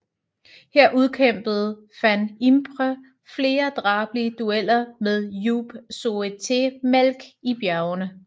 Her udkæmpede van Impe flere drabelige dueller med Joop Zoetemelk i bjergene